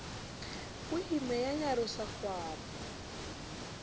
o imme ya nyarosa kgwapo